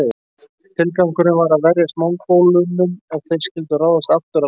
Tilgangurinn var að verjast Mongólunum ef þeir skyldu ráðast aftur að landinu.